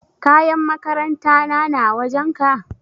Kayan makaranta na na wajen ka?